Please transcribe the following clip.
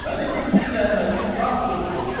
Mənim indi zəhmətim lap çox oldu.